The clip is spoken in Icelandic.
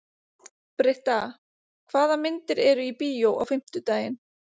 Britta, hvaða myndir eru í bíó á fimmtudaginn?